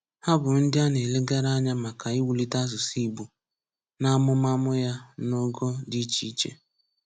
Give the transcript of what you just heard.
Há bụ́ ndị a na-elegára ànyá maka iwùlìté asụ̀sụ́ Ìgbò n’ámùmàmụ̀ ya n’ọ̀gọ̀ dị iche iche.